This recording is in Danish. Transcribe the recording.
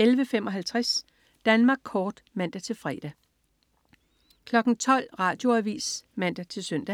11.55 Danmark Kort (man-fre) 12.00 Radioavis (man-søn)